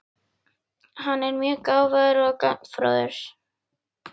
Hann er mjög gáfaður og gagnfróður.